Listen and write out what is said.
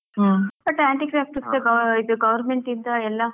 Hmm. but handicap ಗೆ ಗಾ ಇದು government ಇಂದ ಎಲ್ಲಾ.